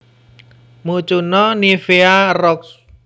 Mucuna nivea Roxb